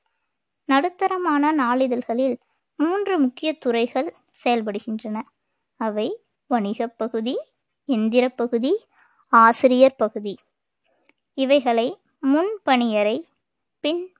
நடுத்தரமான நாளிதழ்களில் மூன்று முக்கிய துறைகள் செயல்படுகின்றன அவை வணிகப் பகுதி எந்திரப் பகுதி ஆசிரியர் பகுதி இவைகளை முன்பணியறை பின்